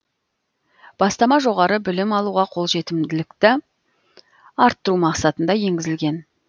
бастама жоғары білім алуға қолжетімділікті арттыру мақсатында енгізілген